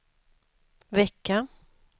vecka